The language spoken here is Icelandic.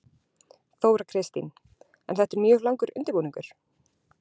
Þóra Kristín: En þetta er mjög langur undirbúningur?